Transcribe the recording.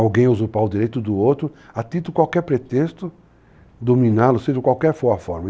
alguém usurpar o direito do outro, atento a qualquer pretexto, dominá-lo, seja qualquer for a forma.